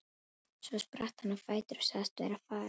Svo spratt hann á fætur og sagðist vera farinn.